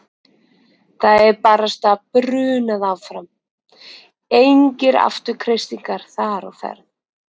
Það er barasta brunað áfram, engir afturkreistingar þar á ferð.